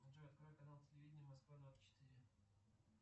джой открой канал телевидения москва двадцать четыре